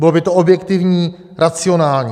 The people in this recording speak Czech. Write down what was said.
Bylo by to objektivní, racionální.